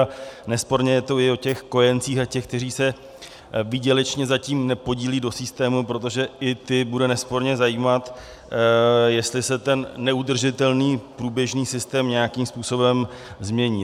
A nesporně je to i o těch kojencích a těch, kteří se výdělečně zatím nepodílejí do systému, protože i ty bude nesporně zajímat, jestli se ten neudržitelný průběžný systém nějakým způsobem změní.